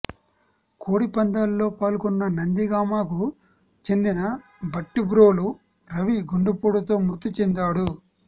కోడి పందాల్లో పాల్గొన్న నందిగామకు చెందిన భట్టిప్రోలు రవి గుండెపోటుతో మృతి చెందాడు